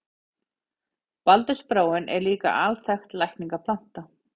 Baldursbráin er líka alþekkt lækningaplanta.